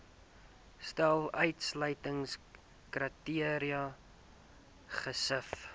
stel uitsluitingskriteria gesif